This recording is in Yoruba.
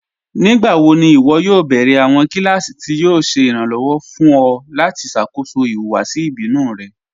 Nígbàwò̀ ní ìwọ́ yóò bẹ̀rẹ̀ awọn kílásì tí yóò ṣè irànlowọ̀ fún ọ̀ lati ṣákóṣọ́ ìhùwàsì ìbínù rẹ̀?